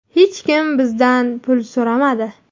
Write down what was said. Hech kim bizdan pul so‘ramadi.